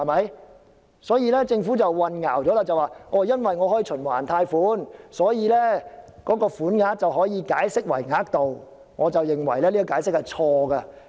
因此，政府的說法是混淆了，即因為可以循環貸款，所以便可以把"款額"解釋為"額度"，我認為這解釋是錯的。